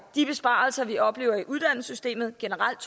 de besparelser vi oplever i uddannelsessystemet generelt